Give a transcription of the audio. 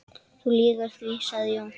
Þú lýgur því, sagði Jón.